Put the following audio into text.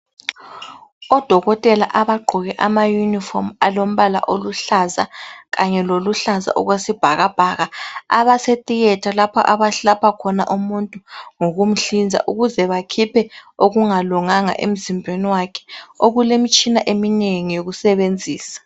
Odokotela abagqoke amaYunifomu alompala oluhlaza kanye loluhlaza okwesibhakabhaka abasetheater lapha abalapha khona umuntu ngokumhlinza ukuze bakhiphe okungalunganga emzimbeni wakhe okulemitshina eminengi eyokusebenzisa.